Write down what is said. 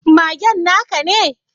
Magen na ka ne?